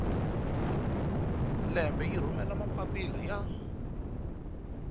lembe yi rhumela mapapila ya